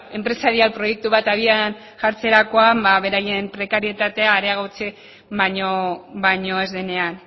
enpresarial proiektu bat abian jartzerakoan beraien prekarietatea areagotzen baino ez denean